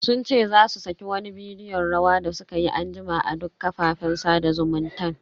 Sun ce za su saki wani bidiyon rawa da sukayi anjima a duk kafafen sada zumuntan.